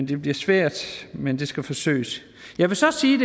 det bliver svært men det skal forsøges jeg vil så sige